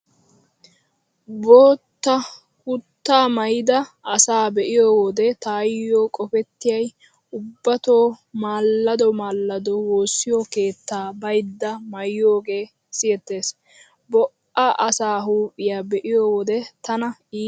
Bootta kutaa maayida asaa be'iyo wode taayyo qopettiyay ubbatoo maallado maallado woossiyo keettaa baydda maayiyoogee siyettees. Bo'a asaa huuphiyaa be'iyo wode tana iitees.